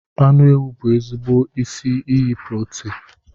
Anụ ewu bụ ezigbo isi iyi protin